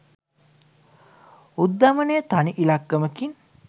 උද්ධමනය තනි ඉලක්කමකින්